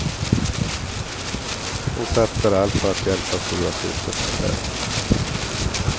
Hon satsar allt på att hjälpa storasyster med affärerna.